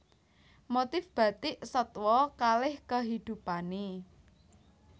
Motif Bathik Satwa kaleh kehidupanne